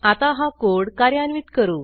आता हा कोड कार्यान्वित करू